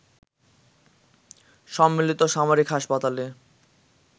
সম্মিলিত সামরিক হাসপাতালে